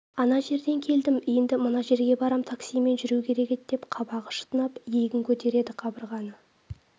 ана жерден келдім енді мына жерге барам таксимен жүру керек деп қабағы шытынап иегін көтереді қабырғаны